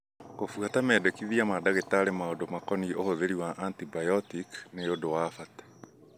Kũbuata mendekithia ma ndagĩtarĩ maũndũ makonie ũhũthĩri wa antibiotiki ni ũndũ wa bata.